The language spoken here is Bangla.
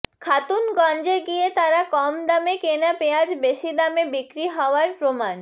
খাতুনগঞ্জে গিয়ে তারা কম দামে কেনা পেঁয়াজ বেশি দামে বিক্রি হওয়ার প্রমাণ